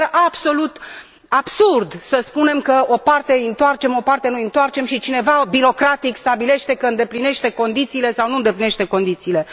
Mi se pare absolut absurd să spunem că o parte îi întoarcem, o parte nu i întoarcem și, cineva, birocratic, stabilește că îndeplinește condițiile sau nu îndeplinește condițiile.